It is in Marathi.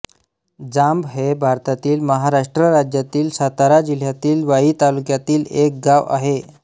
जांब हे भारतातील महाराष्ट्र राज्यातील सातारा जिल्ह्यातील वाई तालुक्यातील एक गाव आहे